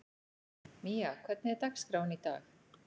Mía, hvernig er dagskráin í dag?